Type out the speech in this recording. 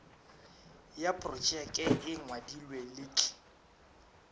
ya projeke e ngwadilwe letl